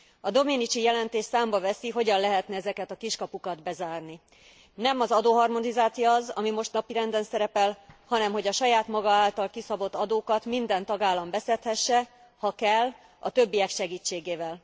A Domenici jelentés számba veszi, hogyan lehetne ezeket a kiskapukat bezárni. Nem az adóharmonizáció az, ami most napirenden szerepel, hanem hogy a saját maga által kiszabott adókat minden tagállam beszedhesse, ha kell, a többiek segítségével.